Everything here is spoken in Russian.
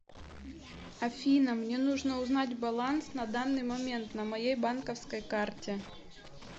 афина мне нужно узнать баланс на данный момент на моей банковской карте